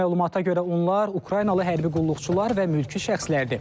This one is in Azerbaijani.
Məlumata görə onlar Ukraynalı hərbi qulluqçular və mülki şəxslərdir.